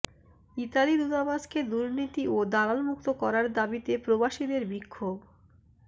Italy দূতাবাসকে দুর্নীতি ও দালালমুক্ত করার দাবিতে প্রবাসীদের বিক্ষোভ